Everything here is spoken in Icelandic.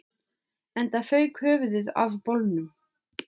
Enda fauk höfuðið af bolnum